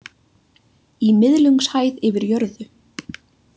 Í miðlungshæð yfir jörðu.